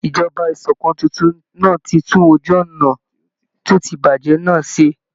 Ìjọba ìṣòkan titun náà ti tún ojú ọnà tí ó ti bàjẹ́ nà ṣé.